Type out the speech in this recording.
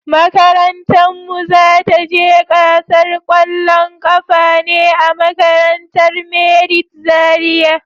Makarantan mu za ta je gasar kwallon kafa ne a makarantar merit Zaria.